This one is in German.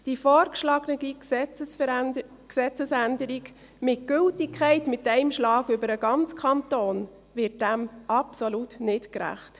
Die vorgeschlagene Gesetzesänderung mit Gültigkeit auf einen Schlag über den ganzen Kanton wird dem absolut nicht gerecht.